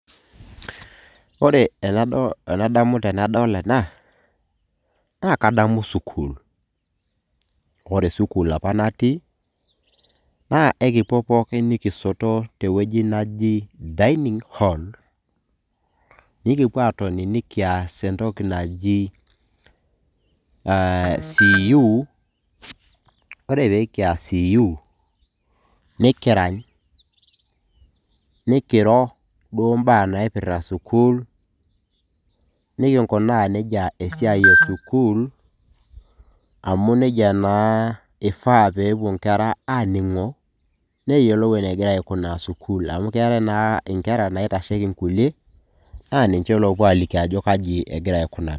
ore enadamu tenadol ena naa kadamu sukul ore sukul apa natii naa ekipuo pookin nikisoto teweji naji dining hall nikipuo atoni nikias entoki naji uh, CU ore pekias CU nikirany nikiro duo imba naipirrta sukul nikinkunaa nejia esiai esukul amu nejia naa ifaa pepuo inkera aning'o neyiolou enegira aikunaa sukul amu keetae naa inkera naitasheki inkulie naa ninche lopuo aliki ajo kaji egira aikunari.